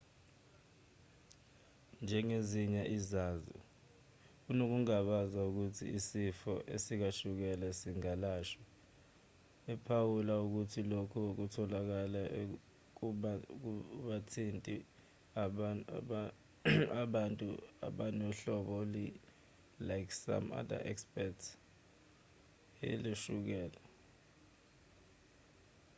njengezinye izazi unokungabaza ngokuthi isifo sikashukela singalashwa ephawula ukuthi lokhu okutholakele akubathinti abantu abanohlobo ike some other experts he lukashukela